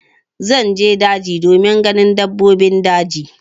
Zan je daji domin ganin dabbobin daji.